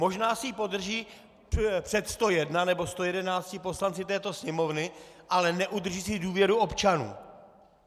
Možná si ji podrží před 101 nebo 111 poslanci této Sněmovny, ale neudrží si důvěru občanů.